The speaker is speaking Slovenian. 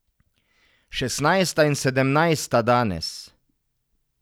Šestnajsta in sedemnajsta danes.